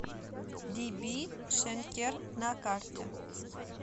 диби шенкер на карте